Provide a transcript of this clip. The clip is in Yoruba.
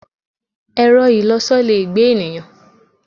Ẹ̀rọ-ìlọsọ le gbé ènìyàn.